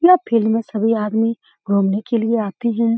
यह फील्ड मे सभी आदमी घूमने के लिए आते है।